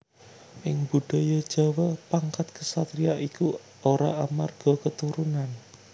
Ing Budaya Jawa pangkat ksatriya iku ora amarga keturunan